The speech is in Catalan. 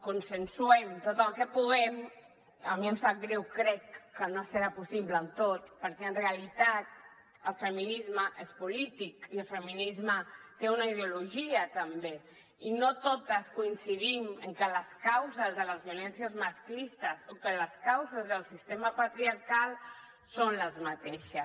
consensuem tot el que puguem a mi em sap greu crec que no serà possible en tot perquè en realitat el feminisme és polític i el feminisme té una ideologia també i no totes coincidim en què les causes de les violències masclistes o que les causes del sistema patriarcal són les mateixes